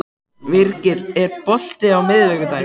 Virgill, er bolti á miðvikudaginn?